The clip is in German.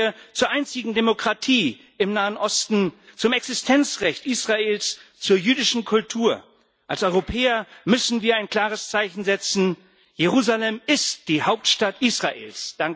Stehen wir zur einzigen Demokratie im Nahen Osten zum Existenzrecht Israels, zur jüdischen Kultur! Als Europäer müssen wir ein klares Zeichen setzen Jerusalem ist die Hauptstadt Israels.